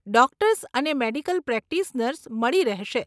Doctors અને medical practitioners મળી રહેશે.